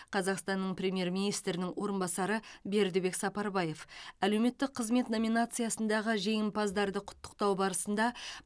қазақстанның премьер министрінің орынбасары бердібек сапарбаев әлеуметтік қызмет номинациясындағы жеңімпаздарды құттықтау барысында